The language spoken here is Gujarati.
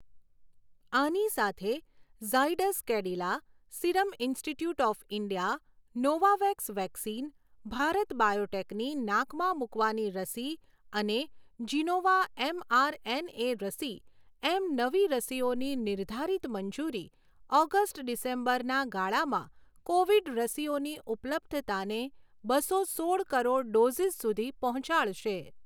આની સાથે ઝાયડસ કેડિલા, સિરમ ઈન્સ્ટીટ્યૂટ ઑફ ઈન્ડિયા, નોવાવેક્સ વેક્સિન, ભારત બાયોટેકની નાકમાં મૂકવાની રસી અને જિનોવા એમઆરએનએ રસી એમ નવી રસીઓની નિર્ધારિત મંજૂરી ઑગસ્ટ ડિસેમ્બરના ગાળામાં કોવિડ રસીઓની ઉપલબ્ધતાને બસો સોળ કરોડ ડૉઝીસ સુધી પહોંચાડશે.